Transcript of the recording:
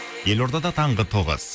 елордада таңғы тоғыз